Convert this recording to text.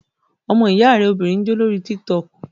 Ọmọ ìyá rẹ obìnrin ń jó lórí tík-tọkù